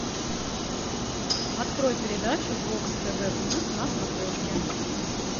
открой передачу бокс тв плюс на смотрешке